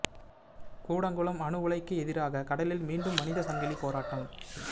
கூடங்குளம் அணு உலைக்கு எதிராக கடலில் மீண்டும் மனித சங்கிலி போராட்டம்